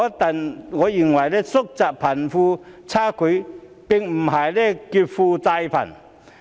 但我認為，縮窄貧富差距並不是劫富濟貧。